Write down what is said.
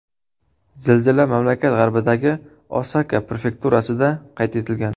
Zilzila mamlakat g‘arbidagi Osaka prefekturasida qayd etilgan.